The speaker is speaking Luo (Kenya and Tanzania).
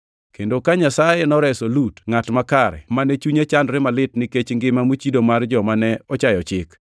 kendo ka Nyasaye noreso Lut ngʼat makare, mane chunye chandore malit nikech ngima mochido mar joma ne ochayo chik